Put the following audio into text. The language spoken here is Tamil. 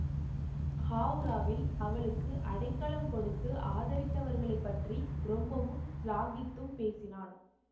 ஹாவ்ராவில் அவளுக்கு அடைக்கலம் கொடுத்து ஆதரித்தவர்களைப் பற்றி ரொம்பவும் சிலாகித்தும் பேசினான்